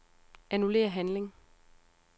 Annullér handling.